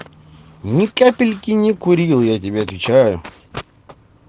ни капельки не курил я тебе отвечаю